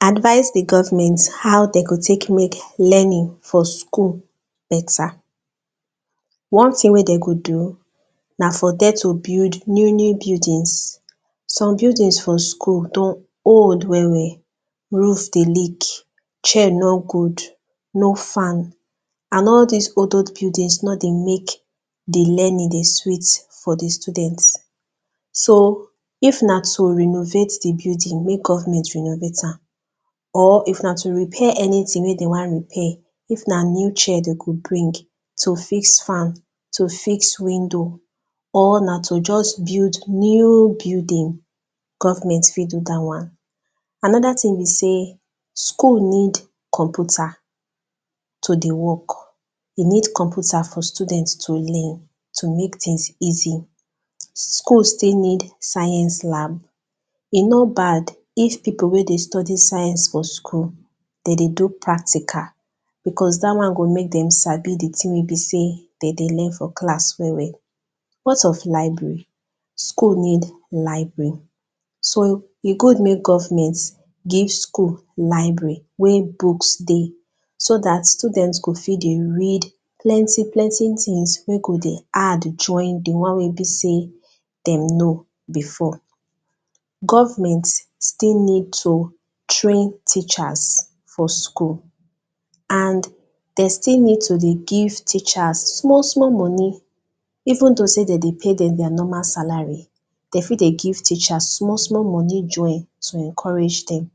Advice di government how dem go tek mek learning for school better One thing wey dem go do na for dem to build new new buildings, some buildings for school don old well well roof dey leak, chair nor good, no fan and all dis old old buildings no dey mek di learning dey sweet for di students So, if na to renovate di building, mek government renovate am. Or, if na to repair anything wey dem wan repair, if na new chair dem go bring to fix fan, to fix windows, or na to just build new building government fit do dat one Another thing be sey, school need computer to dey work E need computer for students to learn, to mek things easy School still need science lab E no bad if people wey dey study science for school, dem dey do practical. Because day one go mek dem Sabi wetin be di thing wey dem dey learn for class well well. What of library? School need library So e good mek government give school library wey books dey so dat students go fit dey read join plenty plenty things wey be sey dem know before Government still need to train teachers for school and dem still need to dey give teachers small small money even though sey dem dey lay dem their normal salary dem fit dey give teachers small small money join to encourage dem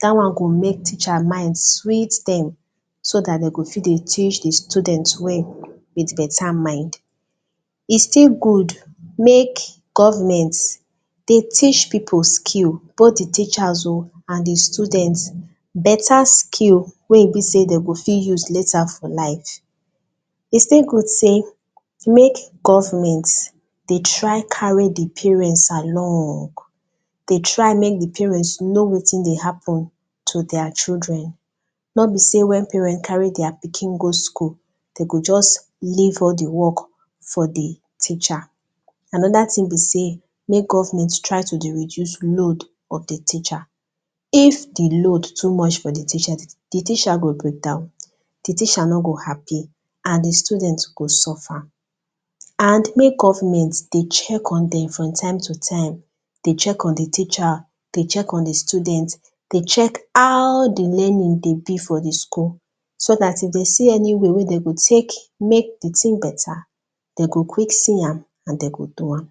dat one go mek teacher mind sweet dem so dat dem go fit dey teach di students well with better mind E still good mek government dey teach people skill Both the teachers o, and di students Better skill wey be dey dem go fit use later for life E still good sey mek government dey try carry do parents along dey try mek di parents dey know wetin dey happen to dia children no be sey when parents carry dia children go school, dem go just leave all fu work for di teacher Anoda thing be sey, mek government try to dey reduce load of di teacher if di load too much for di teacher, di teacher go breakdown, di teacher no go happy, and di students go suffer And mek government dey check on them from time to time Dey check on di teacher, dey check in di students dey check how di learning dey be for di school So dat if dem see any way wey dem go fit mek di thing better, dem go quick see am, and den go do am.